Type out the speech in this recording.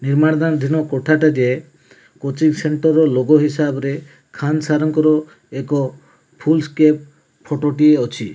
ନିର୍ମାଣ ଧାନ ଧିନ କୋଠା ଟା ଟିଏ କୋଚିଂ ସେଣ୍ଟର ର ଲୋଗୋ ହିସାବରେ ଖାନ୍ ସାର୍ ଙ୍କର ଏକ ଫୁଲ୍ ସ୍କେପ୍ ଫଟୋ ଟିଏ ଅଛି।